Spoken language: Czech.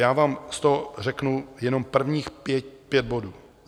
Já vám z toho řeknu jenom prvních pět bodů.